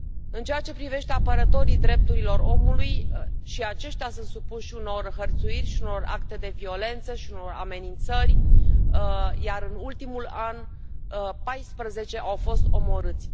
În ceea ce privește apărătorii drepturilor omului, și aceștia sunt supuși unor hărțuiri și unor acte de violență și unor amenințări, iar în ultimul an 14 au fost omorâți